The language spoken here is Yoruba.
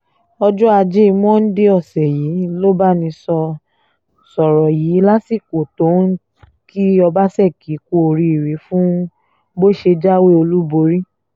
ọjọ́ ajé monde ọ̀sẹ̀ yìí lọ́bánisọ sọ̀rọ̀ yìí lásìkò tó ń kí ọbaṣẹ́kì kú oríire fún bó ṣe jáwé olúborí